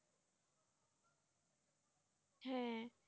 হ্যাঁ